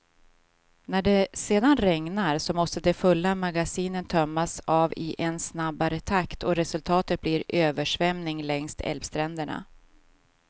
När det sedan regnar, så måste de fulla magasinen tömmas av i en snabbare takt och resultatet blir översvämning längs älvstränderna.